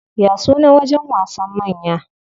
Ya sunan wajen wasan manya?